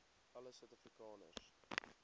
alle suid afrikaners